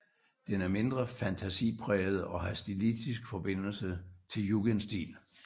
Den er mindre fantasipræget og har stilistisk forbindelse til jugendstil